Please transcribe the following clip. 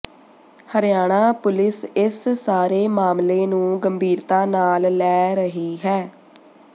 Haryana police ਇਸ ਸਾਰੇ ਮਾਮਲੇ ਨੂੰ ਗੰਭੀਰਤਾ ਨਾਲ ਲੈ ਰਹੀ ਹੈ